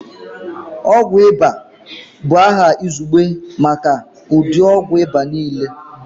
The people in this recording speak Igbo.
Ọgwụ ịba bụ aha izugbe maka ụdị ogwụ ịba niile